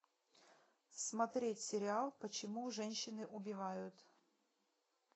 смотреть сериал почему женщины убивают